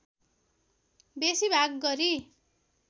बेसी भाग गरी